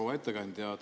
Proua ettekandja!